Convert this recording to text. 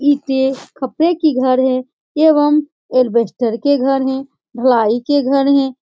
ईटे खपड़ें के घर हैं एवम येलवेस्टर के घर हैं ढलाई के घर हैं।